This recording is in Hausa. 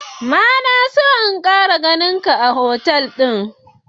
ma na son in Kara ganin ka a otal din.